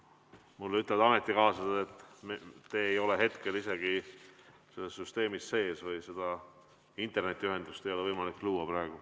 Mulle ütlevad ametikaaslased, et te ei ole hetkel süsteemis sees, internetiühendust ei ole võimalik luua.